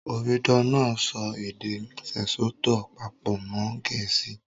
Omidan náà èdè Sesotho pàpò mọn Gẹ̀ẹ̀síì